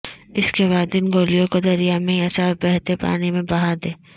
اس کے بعد ان گولیوں کو دریا میں یا صاف بہتے پانی میں بہاد یں